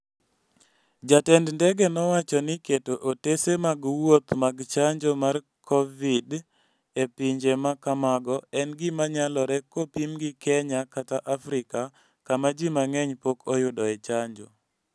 Jatend ndege nowacho ni keto otese mag wuoth mag chanjo mar Covid-ve e pinje ma kamago en gima nyalore kopim gi Kenya kata Afrika kama ji mang'eny pok oyudoe chanjo.